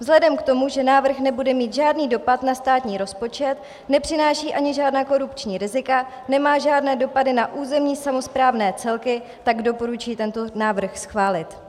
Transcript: Vzhledem k tomu, že návrh nebude mít žádný dopad na státní rozpočet, nepřináší ani žádná korupční rizika, nemá žádné dopady na územní samosprávné celky, tak doporučuji tento návrh schválit.